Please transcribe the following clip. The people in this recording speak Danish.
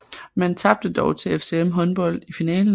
Man tabte dog til FCM Håndbold i finalen